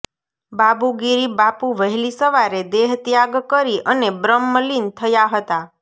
બાબુગીરી બાપુ વહેલી સવારે દેહત્યાગ કરી અને બ્રહ્મલીન થયા હતા